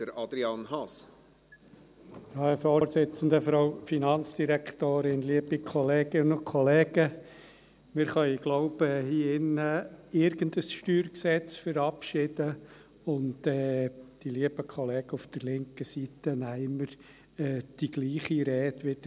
Ich glaube, wir können hier in diesem Saal irgendein StG verabschieden, und die lieben Kollegen auf der linken Seite holen immer wieder die gleiche Rede hervor.